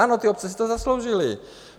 Ano, ty obce si to zasloužily.